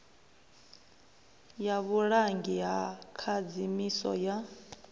ya vhulangi ha khadzimiso ya